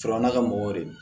Surunya ka mɔgɔw de don